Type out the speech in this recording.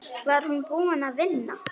Var hún búin að vinna?